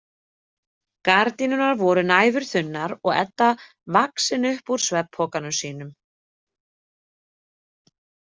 Gardínurnar voru næfurþunnar og Edda vaxin upp úr svefnpokanum sínum.